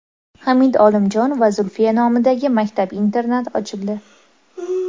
Hamid Olimjon va Zulfiya nomidagi maktab-internat ochildi.